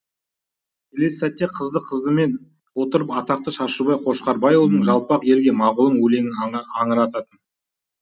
келесі сәтте қызды қыздымен отырып атақты шашубай қошқарбайұлының жалпақ елге мағұлым өлеңін аңырататын